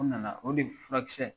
O nana, o de furakisɛ